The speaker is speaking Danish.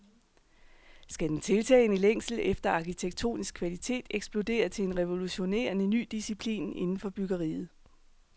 Skal den tiltagende længsel efter arkitektonisk kvalitet eksplodere til en revolutionerende ny disciplin inden for byggeriet?